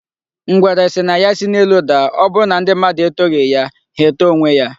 Ngwere sị na ya si n'elu daa, ọbụrụ na ndị mmadụ etoghi ya, ha etoo onwe ya.